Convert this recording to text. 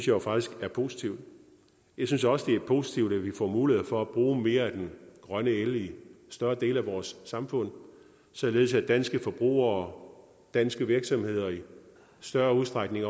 jo faktisk er positivt jeg synes også det er positivt at vi får mulighed for at bruge mere af den grønne el i større dele af vores samfund således at danske forbrugere og danske virksomheder i større udstrækning